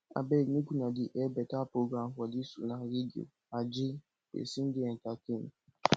abeg make una dey air beta program for dis una radio aje person dey entertained